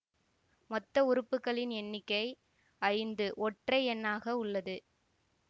மொத்த உறுப்புகளின் எண்ணிக்கை ஐந்து ஒற்றை எண்ணாக உள்ளது